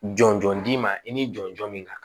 Jɔn jɔn d'i ma i n'i jɔnjɔn min kan